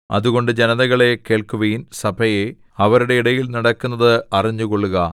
അതുകൊണ്ട് ജനതകളേ കേൾക്കുവിൻ സഭയേ അവരുടെ ഇടയിൽ നടക്കുന്നത് അറിഞ്ഞുകൊള്ളുക